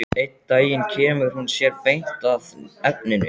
Einn daginn kemur hún sér beint að efninu.